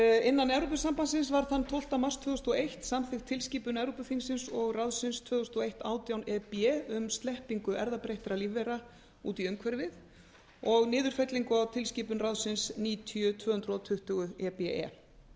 innan evrópusambandsins var þann tólfta mars tvö þúsund og eitt samþykkt tilskipun evrópuþingsins og ráðsins tvö þúsund og eitt átján e b um sleppingu erfðabreyttra lífvera út í umhverfið og niðurfellingu á tilskipun ráðsins níutíu tvö hundruð tuttugu e b e